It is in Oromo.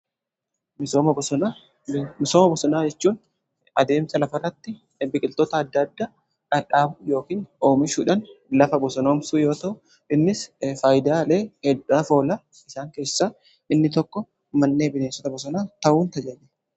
Misooma bosonaa jechuun adeemsa lafa irratti biqiltoota adda adda dhadhaabu yookiin oomishuudhan lafa bosonoomsuu yoo ta’u, innis faayidaalee hedduuf oola. Isaan keessa inni tokko manneen bineensota bosonaa ta'uun tajaajila.